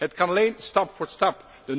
1. Het kan alleen stap voor stap.